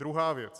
Druhá věc.